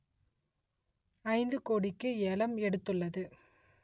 ஐந்து கோடிக்கு ஏலம் எடுத்துள்ளது